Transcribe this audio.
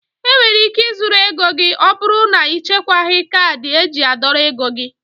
Enwere ike ị zurụ ego gị ọbụrụ na ichekwaghi kaadị eji a dọrọ ego gị.